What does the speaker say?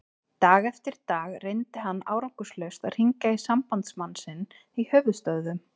Dag eftir dag reyndi hann árangurslaust að hringja í sambandsmann sinn í höfuðstöðvum